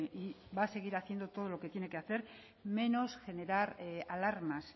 y va a seguir haciendo todo lo que tiene que hacer menos generar alarmas